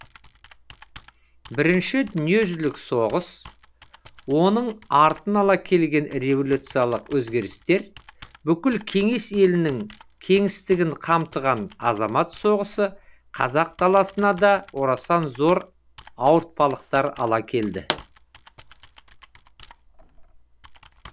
бірінші дүниежүзілік соғыс оның артын ала келген революциялық өзгерістер бүкіл кеңес елінің кеңістігін қамтыған азамат соғысы қазақ даласына да орасан зор ауыртпалықтар ала келді